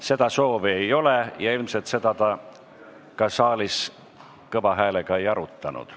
Seda soovi ei ole ja ilmselt seda te saalis kõva häälega ka ei arutanud.